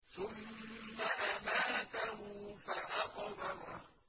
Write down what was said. ثُمَّ أَمَاتَهُ فَأَقْبَرَهُ